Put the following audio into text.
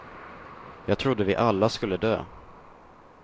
Jag trodde vi alla skulle dö.